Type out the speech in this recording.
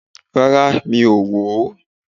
Rárá, mi ò wò ó